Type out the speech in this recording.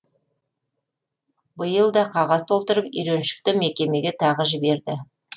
биыл да қағаз толтырып үйреншікті мекемеге тағы жіберді